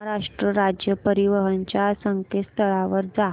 महाराष्ट्र राज्य परिवहन च्या संकेतस्थळावर जा